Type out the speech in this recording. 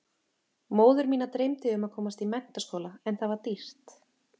Móður mína dreymdi um að komast í menntaskóla en það var dýrt.